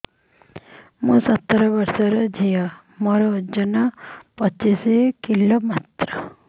ମୁଁ ସତର ବୟସର ଝିଅ ମୋର ଓଜନ ପଚିଶି କିଲୋ ମାତ୍ର